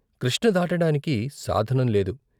కృష్ణ దాటడానికి సాధనం లేదు.